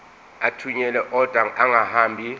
athunyelwa odwa angahambi